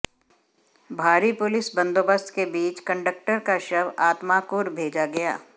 भारी पुलिस बंदोबस्त के बीच कंडक्टर का शव आत्माकुर भेजा गया